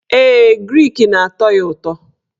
Ee, grik ga-atọ ya ụtọ.